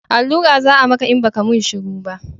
Allura za a maka in ba ka mun shuru ba